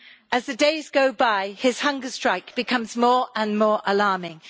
As the days go by, his hunger strike becomes more and more alarming.